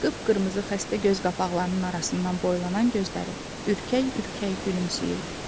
Qıpqırmızı xəstə göz qapaqlarının arasından boylanan gözləri ürkək-ürkək gülümsəyirdi.